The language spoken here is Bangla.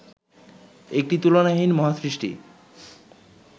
একটি তুলনাহীন মহাসৃষ্টি